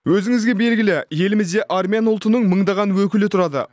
өзіңізге белгілі елімізде армян ұлтының мыңдаған өкілі тұрады